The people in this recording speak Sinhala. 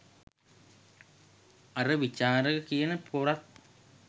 අර විචාරක කියන පොරත්